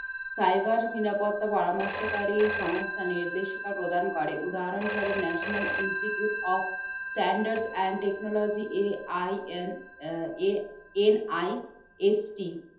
cyber নিরাপত্তা পরামর্শকারী সংস্থা নির্দেশিকা প্রদান করে। উদাহরণস্বরূপ national institute of standard and technologyAINNIST